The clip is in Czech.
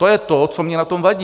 To je to, co mně na tom vadí.